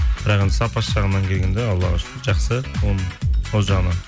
бірақ енді сапасы жағынан келгенде аллаға шүкір жақсы ол жағынан